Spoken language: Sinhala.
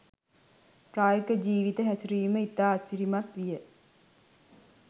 ප්‍රායෝගික ජීවිත හැසිරවීම ඉතා අසිරිමත් විය